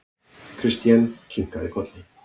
Christian kinkaði kolli.